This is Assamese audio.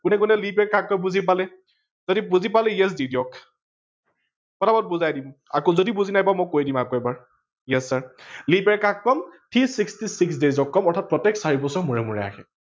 কোনে কোনে leap year কাক কয় বুজি পালে, যদি বুজি পালে yes দি দিওক পতাপত বুজাই দিম আকৌ যদি বুজি নাপায় মই কৈ দিম আকৌ এবাৰ। yes sir leap year কাক কম three sixty six ক কম। অৰ্থাৎ প্ৰতেক চাৰি বছৰ মুৰে মুৰে আহে